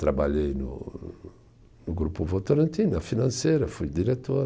Trabalhei no no Grupo Votorantin, na financeira, fui diretor.